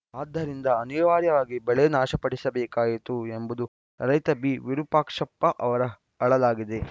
ಆದ್ದರಿಂದ ಅನಿವಾರ್ಯವಾಗಿ ಬೆಳೆ ನಾಶಪಡಿಸಬೇಕಾಯಿತು ಎಂಬುದು ರೈತ ಬಿವಿರೂಪಾಕ್ಷಪ್ಪ ಅವರ ಅಳಲಾಗಿದೆ